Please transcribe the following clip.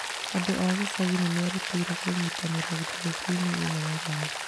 Andũ a gĩcagi nĩ merutĩire kũnyitanĩra thigũkũ-inĩ ĩno na roho.